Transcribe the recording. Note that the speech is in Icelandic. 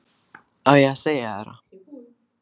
Á ég að segja þér það?